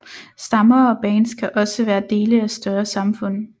Stammer og bands kan også være dele af større samfund